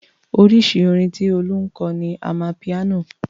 Oríṣi orin tí Olú ń kọ ni amapiano.